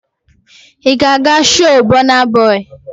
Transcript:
Ị ga-aga shoo Bọna bọị?